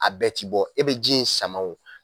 A bɛɛ ti bɔ e be ji in sama o